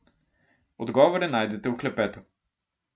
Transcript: Odgovore najdete v klepetu.